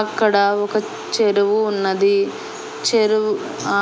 అక్కడ ఒక చెరువు ఉన్నది చెరువు